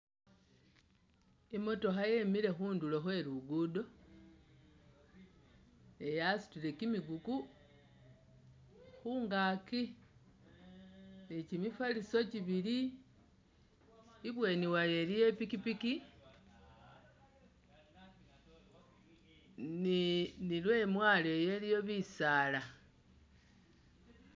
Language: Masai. I'motokha yemile khundulo khwe luguudo eh yasutile kimikuku khungaaki ne kimifaliso kibili, ibweni wayo iliyo ipikipiki ne ne lwemwalo iyo iliyo bisaala.